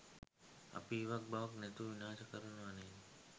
අපි ඉවක් බවක් නැතිව විනාශ කරනවා නේද?